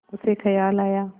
उसे ख़याल आया